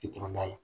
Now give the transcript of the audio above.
I tɛ tɛmɛ n'a ye